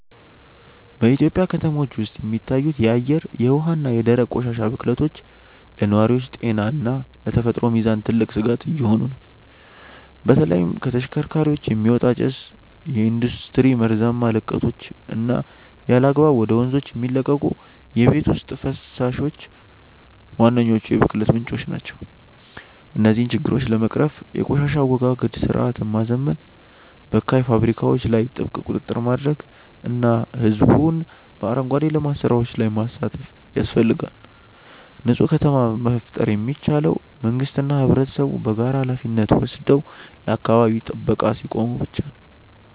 በኢትዮጵያ ከተሞች ውስጥ የሚታዩት የአየር፣ የውሃ እና የደረቅ ቆሻሻ ብክለቶች ለነዋሪዎች ጤና እና ለተፈጥሮ ሚዛን ትልቅ ስጋት እየሆኑ ነው። በተለይም ከተሽከርካሪዎች የሚወጣ ጭስ፣ የኢንዱስትሪ መርዛማ ልቀቶች እና ያለአግባብ ወደ ወንዞች የሚለቀቁ የቤት ውስጥ ፈሳሾች ዋነኞቹ የብክለት ምንጮች ናቸው። እነዚህን ችግሮች ለመቅረፍ የቆሻሻ አወጋገድ ስርዓትን ማዘመን፣ በካይ ፋብሪካዎች ላይ ጥብቅ ቁጥጥር ማድረግ እና ህዝቡን በአረንጓዴ ልማት ስራዎች ላይ ማሳተፍ ያስፈልጋል። ንፁህ ከተማን መፍጠር የሚቻለው መንግስትና ህብረተሰቡ በጋራ ሃላፊነት ወስደው ለአካባቢ ጥበቃ ሲቆሙ ብቻ ነው።